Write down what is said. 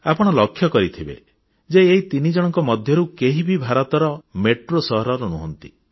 ଆପଣ ଲକ୍ଷ୍ୟ କରିଥିବେ ଯେ ଏହି ତିନିଜଣଙ୍କ ମଧ୍ୟରୁ କେହି ବି ଭାରତର ମେଟ୍ରୋ ସହରର ନୁହନ୍ତି